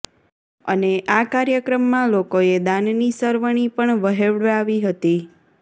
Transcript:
અને આ કાર્યક્રમમાં લોકોએ દાનની સરવણી પણ વહેવડાવી હતી